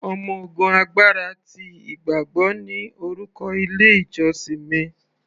Ọmọ ogun agbára ti ìgbàgbọ́ ni orúkọ ilé ìjósìn mi.